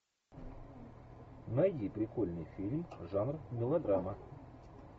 найди прикольный фильм жанр мелодрама